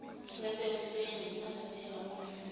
yasekuseni yinsambatheka ongayazi